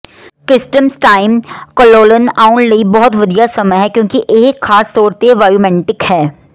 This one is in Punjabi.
ਕ੍ਰਿਸਟਮਸਟਾਇਮ ਕੋਲੋਲਨ ਆਉਣ ਲਈ ਬਹੁਤ ਵਧੀਆ ਸਮਾਂ ਹੈ ਕਿਉਂਕਿ ਇਹ ਖਾਸ ਤੌਰ ਤੇ ਵਾਯੂਮੈੰਟਿਕ ਹੈ